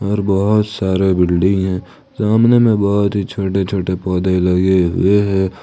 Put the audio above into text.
और बहोत सारे बिल्डिंग है सामने में बहोत ही छोटे छोटे पौधे लगे हुए हैं।